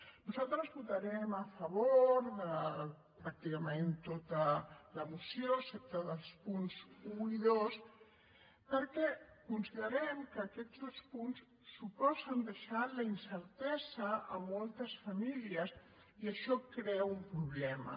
nosaltres votarem a favor de pràcticament tota la moció excepte els punts un i dos perquè considerem que aquests dos punts suposen deixar a la incertesa moltes famílies i això crea un problema